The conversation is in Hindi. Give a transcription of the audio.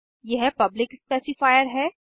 यह पब्लिक स्पेसिफायर है